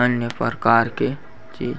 अन्य परकार के चीज़ --